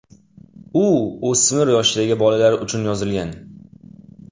U o‘smir yoshdagi bolalar uchun yozilgan.